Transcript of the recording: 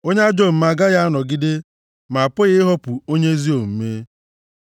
Onye ajọ omume agaghị anọgide, ma apụghị ihopu onye ezi omume.